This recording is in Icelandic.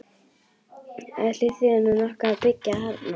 Ætli þýði nú nokkuð að byggja þarna?